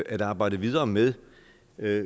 at arbejde videre med